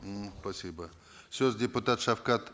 м спасибо сөз депутат шавқат